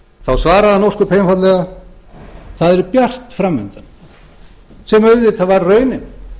þá svaraði hann ósköp einfaldlega það er bjart fram undan sem auðvitað var raunin